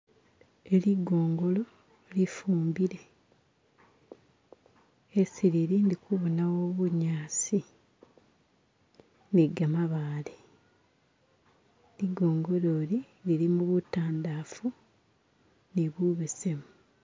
Eli ligongolo lifumbile esi lili ndikubonawo bunyaasi ni gamabale, ligongolo ili lilimo butandafu ni bu besemu.